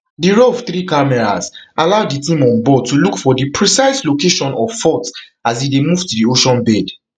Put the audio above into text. di rov three cameras allow di team onboard to look for di precise location of faults as e move to di ocean bed